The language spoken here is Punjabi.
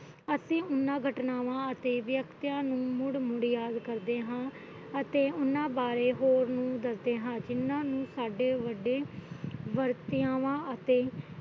ਅਤੇ ਉਹਨਾਂ ਘਟਨਾਵਾਂ ਅਤੇ ਵਿਅਕਤੀਆਂ ਨੂੰ ਮੁੜ ਮੁੜ ਯਾਦ ਕਰਦੇ ਹਾ ਅਤੇ ਉਹਨਾਂ ਬਾਰੇ ਹੋਰ ਨੂੰ ਦਸਦੇ ਹਾ ਜਿਹਨਾਂ ਨੂੰ ਸਾਡੇ ਵੱਡੇ ਵਤਿਆਵਾਂ ਅਤੇ